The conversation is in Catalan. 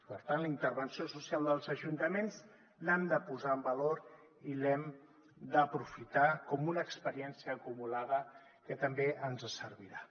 per tant la intervenció social dels ajuntaments l’hem de posar en valor i l’hem d’aprofitar com una experiència acumulada que també ens servirà